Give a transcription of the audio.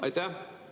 Aitäh!